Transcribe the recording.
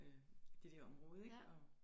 Øh det der område ikke og